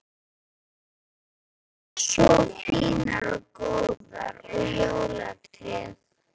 Dæturnar tvær svo fínar og góðar og jólatréð!